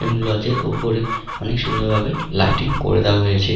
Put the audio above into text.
এবং লজের ওপরে অনেক সুন্দর ভাবে লাইটিং করে দেওয়া হয়েছে।